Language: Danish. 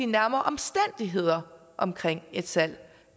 nærmere omstændigheder omkring et salg